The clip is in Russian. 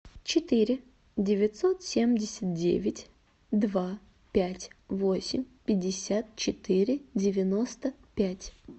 четыре девятьсот семьдесят девять два пять восемь пятьдесят четыре девяносто пять